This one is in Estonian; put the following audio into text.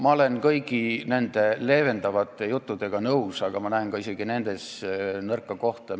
Ma olen nõus kõigi nende leevendavate juttudega, aga ma näen ka isegi nendes nõrka kohta.